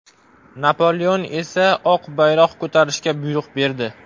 Napoleon esa oq bayroq ko‘tarishga buyruq berdi.